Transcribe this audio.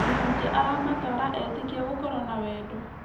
Mũhunjia aramatara etĩkia gũkorwo na wendo.